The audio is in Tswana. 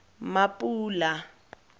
mapula